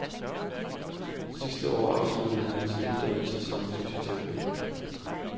Sidste år afsluttede han sin uddannelse som fysioterapeut.